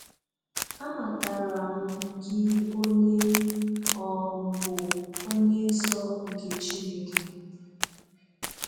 Amataram gị onye ị um bụ, Onye Nsọ nke Chineke.